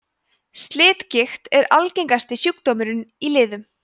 slitgigt er algengasti sjúkdómurinn í liðum